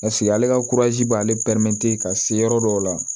ale ka b'ale ka se yɔrɔ dɔw la